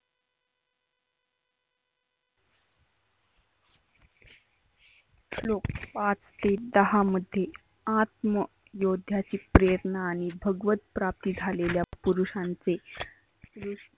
श्लोक पाच ते दहा मध्ये आत्म योध्याचे प्रयत्न आणि भगवत प्राप्ती झालेल्या पुरुषांचे